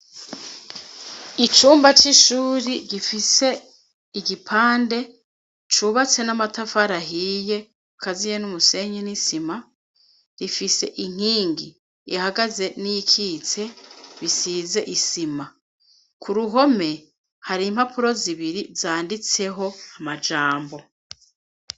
Icumba c'ishuri gifise igipande cubatse n'amatafarahiye kaziye n'umusenye n'isima rifise inkingi ihagaze n'ikitse bisize isima ku ruhome hari impapuro zibiri zanditseho amajambo.